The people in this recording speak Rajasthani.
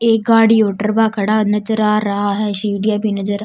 एक गाड़ी और टरबा खड़ा नजर आ रहा है सीढिया भी नजर --